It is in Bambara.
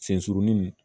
Sen surunnin